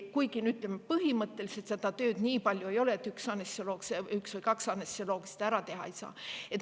Kuigi, ütleme, põhimõtteliselt seda tööd nii palju ei ole, et üks või kaks anestesioloogi seda ära teha ei saa.